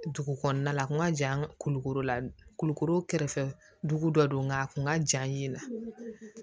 Dugu kɔnɔna la a kun ka jan kulukoro kolo kɛrɛfɛ dugu dɔ don nka a kun ka jan ɲɛ na